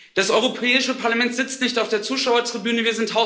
Das Europäische Parlament sitzt nicht auf der Zuschauertribüne.